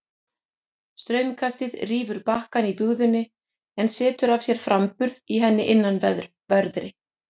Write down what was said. Straumkastið rýfur bakkann í bugðunni en setur af sér framburð í henni innanverðri.